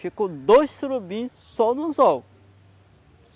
Ficou dois surubins só no anzol.